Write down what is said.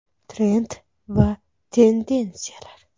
Trend va tendensiyalar.